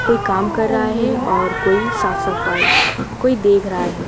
कोई काम कर रहा है और कोई साफ़-सफाई कोई देख रहा हैं।